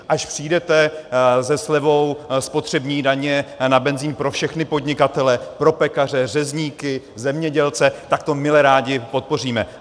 Až přijdete se slevou spotřební daně na benzin pro všechny podnikatele, pro pekaře, řezníky, zemědělce, tak to mile rádi podpoříme.